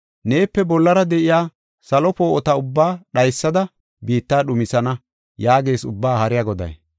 Neepe bollara de7iya salo poo7ota ubbaa dhaysada, biitta dhumisana” yaagees Ubbaa Haariya Goday.